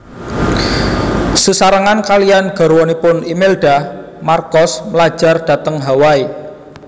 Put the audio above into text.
Sesarengan kaliyan garwanipun Imelda Marcos mlajar dhateng Hawaii